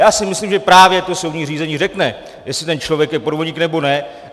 Já si myslím, že právě to soudní řízení řekne, jestli ten člověk je podvodník, nebo ne.